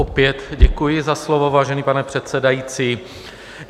Opět děkuji za slovo, vážený pane předsedající.